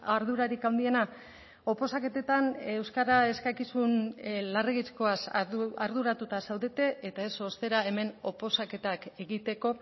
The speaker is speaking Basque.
ardurarik handiena oposaketetan euskara eskakizun larregizkoaz arduratuta zaudete eta ez ostera hemen oposaketak egiteko